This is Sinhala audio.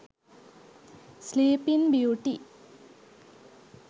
sleeping beauty